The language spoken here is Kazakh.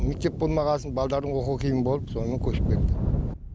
мектеп болмағасын балдардың оқуы қиын болып сонымен көшіп кетті